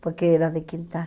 Porque era de quintal.